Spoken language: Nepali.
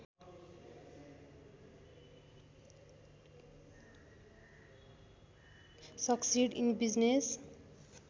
succeed in business